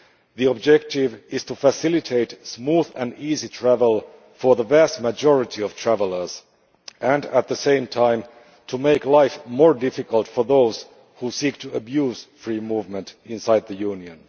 The objective is to facilitate smooth and easy travel for the vast majority of travellers and, at the same time, make life more difficult for those who seek to abuse free movement inside the Union.